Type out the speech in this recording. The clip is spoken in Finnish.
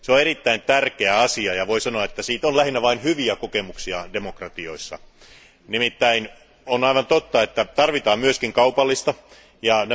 Se on erittäin tärkeä asia, ja voidaan sanoa, että siitä on lähinnä vain hyviä kokemuksia demokratioissa. On aivan totta, että tarvitaan myös kaupallisia kanavia.